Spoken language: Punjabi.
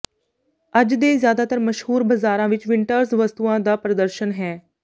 ਅੱਜ ਦੇ ਜ਼ਿਆਦਾਤਰ ਮਸ਼ਹੂਰ ਬਜ਼ਾਰਾਂ ਵਿਚ ਵਿੰਟਰਜ਼ ਵਸਤੂਆਂ ਦਾ ਪ੍ਰਦਰਸ਼ਨ ਹੈ